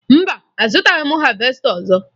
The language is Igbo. Mba, azụtaghị m havesta ọzọ